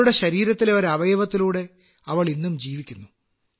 അവളുടെ ശരീരത്തിലെ ഒരു അവയവത്തിലൂടെ അവൾ ഇന്നും ജീവിക്കുന്നു